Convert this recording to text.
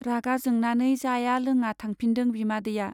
रागा जोंनानै जाया लोङा थांफिनदों बिमादैया।